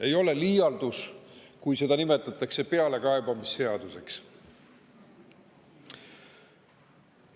Ei ole liialdus, kui seda nimetatakse pealekaebamisseaduseks.